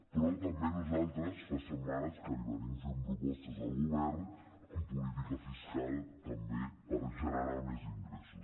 però també nosaltres fa setmanes que li fem propostes al govern en política fiscal també per generar més ingressos